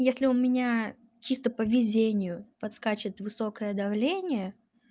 если у меня чисто по везению подскачет высокое давление